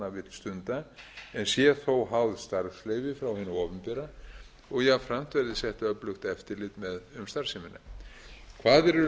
stunda en sé þó háð starfsleyfi frá hinu opinbera og jafnframt verði sett öflugt eftirlit um starfsemina kvaðir eru